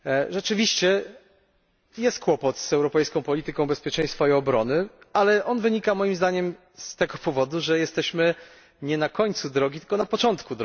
Rzeczywiście jest kłopot z europejską polityką bezpieczeństwa i obrony, ale wynika on, moim zdaniem, z tego, że jesteśmy nie na końcu drogi, tylko na jej początku.